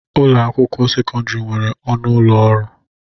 Ụlọ akwụkwọ sekọndrị nwere ọnụ ụlọ ọrụ.